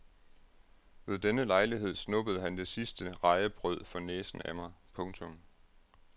Ved denne lejlighed snuppede han det sidste rejebrød for næsen af mig. punktum